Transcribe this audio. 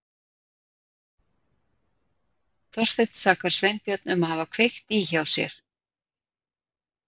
Þorsteinn sakar Sveinbjörn um að hafa kveikt í hjá sér.